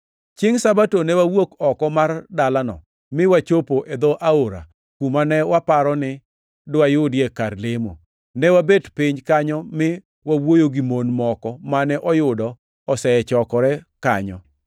Chiengʼ Sabato ne wawuok oko mar dalano mi wachopo e dho aora, kuma ne waparo ni diwayudie kar lemo. Ne wabet piny kanyo mi wawuoyo gi mon moko mane oyudo osechokore kanyo.